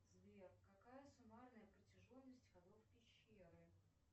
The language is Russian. сбер какая суммарная протяженность ходов пещеры